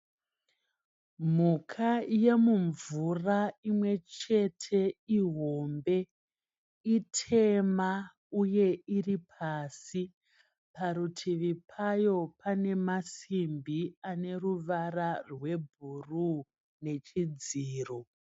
Mhuka yemumvura imwe chete ihombe. Itema uye iri pasi. Parutivi payo pane masimbi ane ruvara rwebhuru nechidziro.